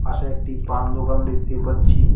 পাশে একটি পান দোকান দেখতে পাচ্ছি।